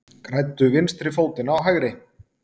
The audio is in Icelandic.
Græddu vinstri fótinn á hægri